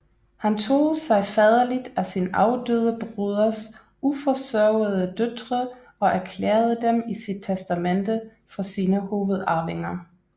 Han tog sig faderligt af sin afdøde broders uforsørgede døtre og erklærede dem i sit testamente for sine hovedarvinger